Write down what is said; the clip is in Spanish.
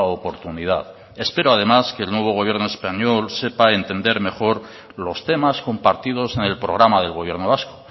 oportunidad espero además que el nuevo gobierno español sepa entender mejor los temas compartidos en el programa del gobierno vasco